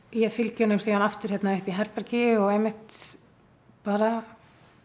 ég fylgi honum aftur hérna upp í herbergi og einmitt bara